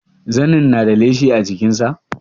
Zanin na da leshi a jikin sa?